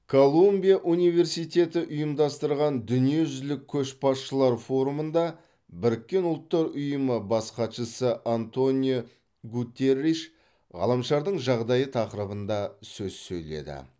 колумбия университеті ұйымдастырған дүниежүзілік көшбасшылар форумында біріккен ұлттар ұйымы бас хатшысы антонио гуттерриш ғаламшардың жағдайы тақырыбында сөз сөйледі